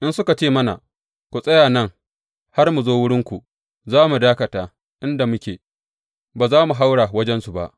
In suka ce mana, Ku tsaya nan har mu zo wurinku,’ za mu dakata inda muke, ba za mu haura wajensu ba.